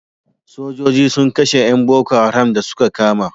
Sojoji sun kashe yan boko haram da su ka kama